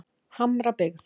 Hamrabyggð